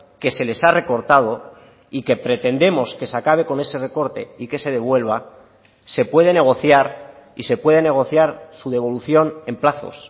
que se les ha recortado y que pretendemos que se acabe con ese recorte y que se devuelva se puede negociar y se puede negociar su devolución en plazos